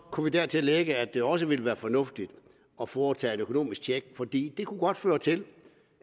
kunne vi dertil lægge at det også ville være fornuftigt at foretage et økonomisk check fordi det kunne godt føre til